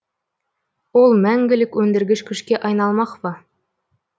ол мәңгілік өндіргіш күшке айналмақ па